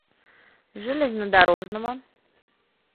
железнодорожного